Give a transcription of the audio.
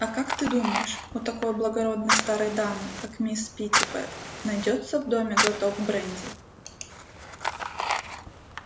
а как ты думаешь у такой благородной старой дамы как мисс питтипэт найдётся в доме глоток бренди